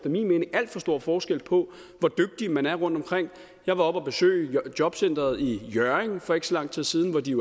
mening alt for stor forskel på hvor dygtig man er rundtomkring jeg var oppe at besøge jobcentret i hjørring for ikke så lang tid siden hvor de